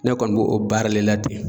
Ne kɔni bo o baari le la ten